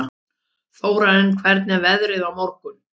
Þórarinn, hvernig er veðrið á morgun?